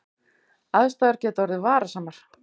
Aðstæður geta orðið varasamar